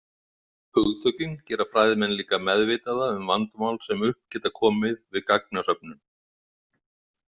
Hugtökin gera fræðimenn líka meðvitaða um vandamál sem upp geta komið við gagnasöfnun.